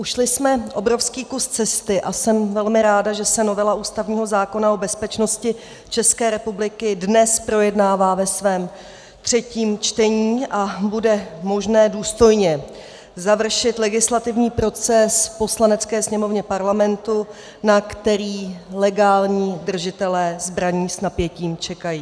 Ušli jsme obrovský kus cesty a jsem velmi ráda, že se novela ústavního zákona o bezpečnosti České republiky dnes projednává ve svém třetím čtení a bude možné důstojně završit legislativní proces v Poslanecké sněmovně Parlamentu, na který legální držitelé zbraní s napětím čekají.